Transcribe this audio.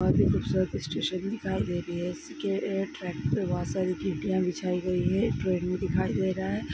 आगे कुछ truck station दिखाई दे रही है इसके एक ट्रैक पे बहुत सारी तितीया बिछाई गई हैं ट्रेन भी दिखाई दे रहा है